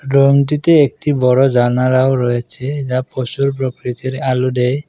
রুমটিতে একটি বড়ো জানালাও রয়েছে যা পসুর প্রকৃতির আলো ডেয় ।